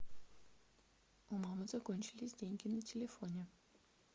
у мамы закончились деньги на телефоне